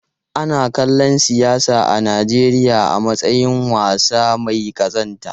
Ana kallon siyasa a Najeriya a matsayin wasa mai kazanta.